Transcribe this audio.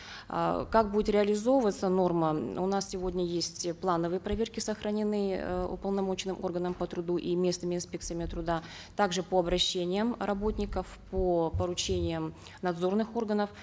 э как будет реализовываться норма у нас сегодня есть э плановые проверки сохранены уполномоченным органом по труду и местными инспекциями труда также по обращениям работников по поручениям надзорных органов